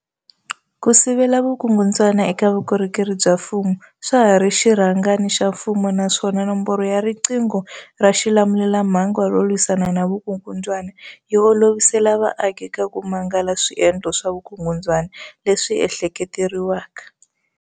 Ku sivela vukungundzwana eka vukorhokeri bya mfumo swa ha ri xirhangana xa mfumo naswona Nomboro ya riqingho ra xilamulelamhangu ro lwisana na vukungundzwana yi olovisela vaaki ku mangala swiendlo swa vukungundzwana leswi ehlekete leriwaka.